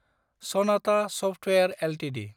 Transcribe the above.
Sanatha software Ltd